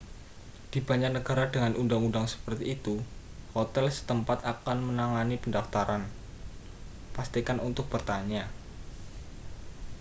di banyak negara dengan undang-undang seperti itu hotel setempat akan menangani pendaftaran pastikan untuk bertanya